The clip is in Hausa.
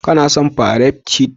Kana son fairat shif?